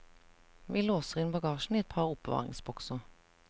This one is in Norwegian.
Vi låser inn bagasjen i et par oppbevaringsbokser.